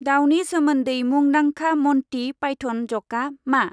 दावनि सोमोन्दै मुंदांखा मनटि पाइथ'न जकआ मा?